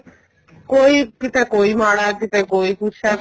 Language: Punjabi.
ਕੋਈ ਕੀਤੇ ਕੋਈ ਮਾੜਾ ਕੀਤੇ ਕੋਈ ਕੁੱਝ ਏ